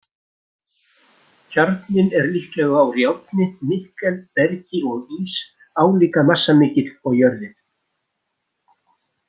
Kjarninn er líklega úr járni, nikkel, bergi og ís, álíka massamikill og jörðin.